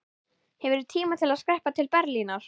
Hefurðu tíma til að skreppa til Berlínar?